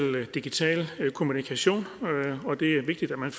digital kommunikation og det er vigtigt at man